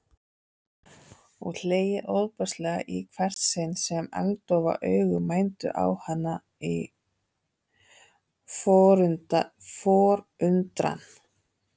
Og hlegið ofboðslega í hvert sinn sem agndofa augu mændu á hana í forundran.